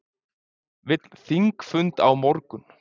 Vill þingfund á morgun